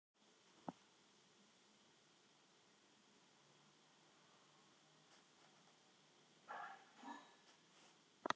Hvað skyldi fólk hafa talað um áður en Skaupið kom til sögunnar?